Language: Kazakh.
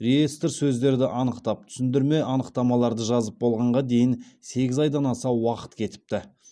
реестр сөздерді анықтап түсіндірме анықтамаларды жазып болғанға дейін сегіз айдан аса уақыт кетіпті